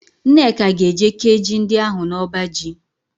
Nneka ga-eje kéé ji ndị ahụ n'ọbaji.